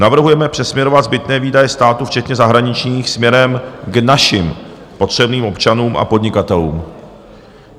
Navrhujeme přesměrovat zbytné výdaje státu včetně zahraničních směrem k našim potřebným občanům a podnikatelům.